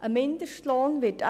Ein Mindestlohn wird